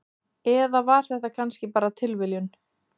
Eða var þetta kannski bara tilviljun?